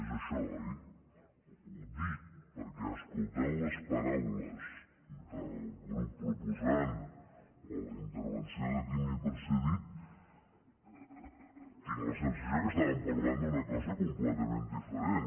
és això oi ho dic perquè escoltant les paraules del grup proposant o la intervenció de qui m’ha precedit tinc la sensació que estaven parlant d’una cosa completament diferent